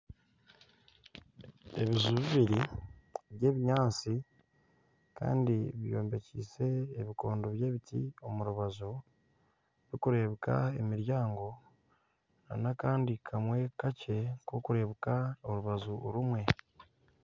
Ebiju bibiri by'ebinyaatsi kandi byombekiise ebikondo bibiri omu rubaju birikureebuka emiryango nana akandi kamwe kakye k'okureebeka orubaju rumwe